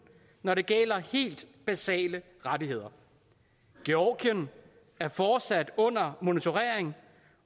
når det gælder helt basale rettigheder georgien er fortsat under monitorering